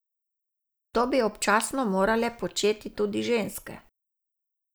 To bi občasno morale početi tudi ženske.